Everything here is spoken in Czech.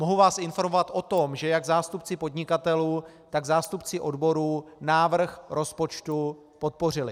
Mohu vás informovat o tom, že jak zástupci podnikatelů, tak zástupci odborů návrh rozpočtu podpořili.